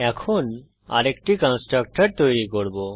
এখন আরেকটি কন্সট্রকটর তৈরী করব